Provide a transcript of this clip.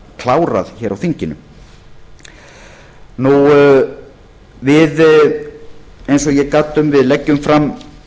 klárað hér á þinginu eins og ég gat um leggjum við fram